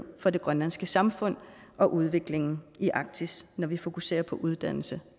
for det grønlandske samfund og udviklingen i arktis når vi fokuserer på uddannelse